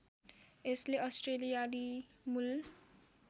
यसले अस्ट्रेलियाली मूल